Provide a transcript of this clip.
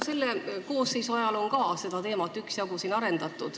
Selle koosseisu ajal on ka seda teemat siin üksjagu arutatud.